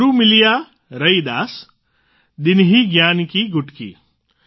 ગુરુ મિલિયા રૈદાસ દીન્હી જ્ઞાન કી ગુટકી